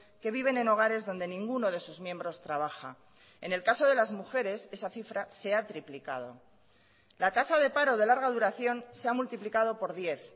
que viven en hogares donde ninguno de sus miembros trabaja en el caso de las mujeres esa cifra se ha triplicado la tasa de paro de larga duración se ha multiplicado por diez